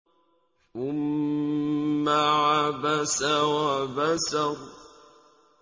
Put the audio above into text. ثُمَّ عَبَسَ وَبَسَرَ